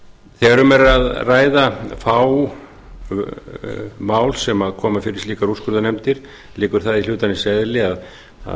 þegar um er að ræða fá mál sem koma fyrir slíkar úrskurðarnefndir liggur það í hlutarins eðli að kostnaður